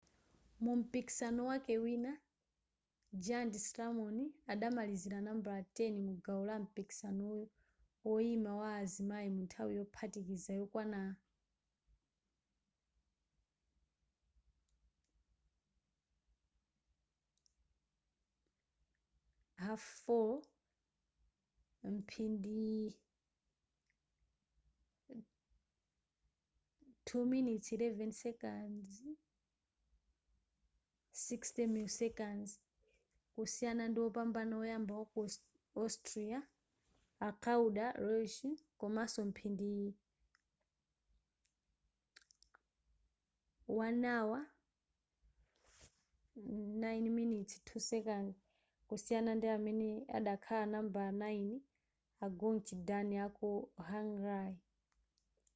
mumpikisano wake wina giant slalom adamalizira nambala 10 mugawo lampikisano woyima wa azimayi munthawi yophatikiza yokwana 4:41:30; mphindi 2:11:60 kusiyana ndiwopambana woyamba waku austria a claudia loesch komaso mphindi 1:09:02 kusiyana ndiamene adakhala nambala 9 a gyöngyi dani aku hungary